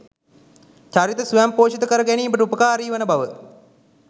චරිත ස්වයංපෝෂිත කර ගැනීමට උපකාරී වන බව